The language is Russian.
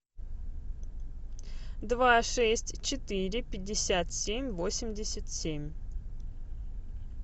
два шесть четыре пятьдесят семь восемьдесят семь